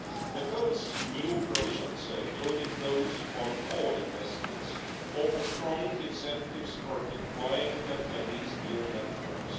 The code's new provisions, including those on core investments, offer strong incentives for deploying these new networks.